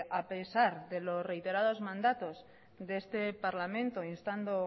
a pesar de lo reiterados mandatos de este parlamento instando